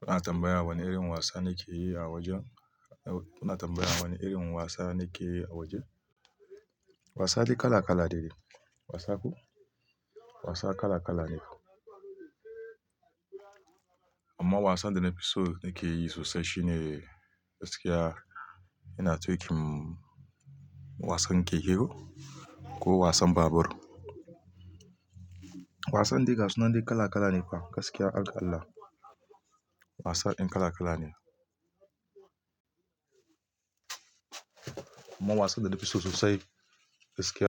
Kuna tambayar wane irin wasa nake yi a wajen? Kuna tambayar wane irin wasa nake yi a wajen? Wasa dai kala kala ne. Wasako? Wasa kala kala ne. Amma wasan da na fi so nake yi sosai shine gaskiya ina tuƙin wasan keke ko wasan babur. Wasan dai gasu nan kala kala ne fa gaskiya haga allah. Wasa in kala kala ne. Amma wasan da na fi so sosai gaskiya-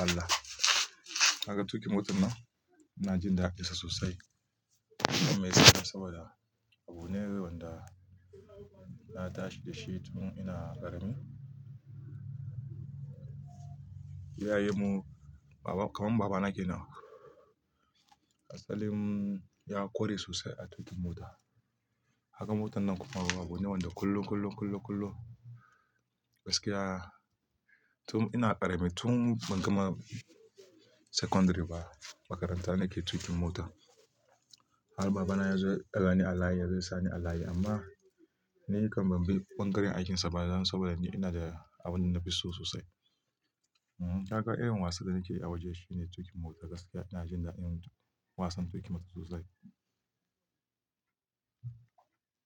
Alkallah. Kaga tuƙin motan nan, ina jin dadin sa sosai. Amma isasai saboda abune wanda na tashi da shi tun ina ƙarami. Iyaye mu, baba, kam babana kenan, asalin ya kore sosai a tuƙin mota. Kaga motannan kuma abune wanda kullum kullum gaskiya tun ina ƙarami tun ina kamar secondary nake tuƙin mota har babana ya zo ya ɗaga ni alayi, ya zo ya sani alayi amma ni kam ban bi ɓangaren aikinsa ba dan saboda ni ina da abin da na fi so sosai. Kaga irin wasan da nake yi a waje shine tuƙin mota gaskiya ina jin dadin wasan tuƙin mota sosai.